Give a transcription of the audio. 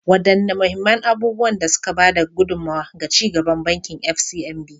Wadanne mahimman abubuwan da suka ba da gudummawa ga ci gaban Bankin FCMB?